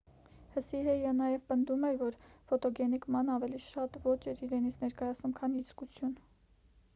հսիեհը նաև պնդում էր որ ֆոտոգենիկ ման ավելի շատ ոճ էր իրենից ներկայացնում քան իսկություն